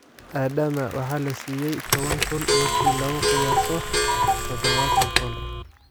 Adaama waxa lasiyey towan kun , marki laku qiyaso dhadhawatan pond eh.